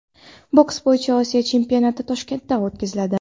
Boks bo‘yicha Osiyo chempionati Toshkentda o‘tkaziladi.